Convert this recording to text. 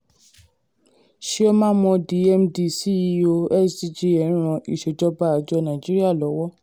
cs] chioma mordi md ceo sggn ẹ ń ran ìsèjọba àjọ nàìjíríà lọ́wọ́.